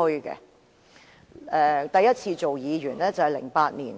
我第一次擔任議員是在2008年，